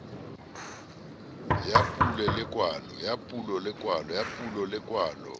ya pulo le ya kwalo